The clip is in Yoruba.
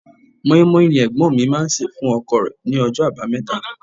Mọ́í-mọ́í ni Ẹ̀gbọ́n mi máa ń se fún ọkọ̀ rẹ ní ọjọ́ abameta.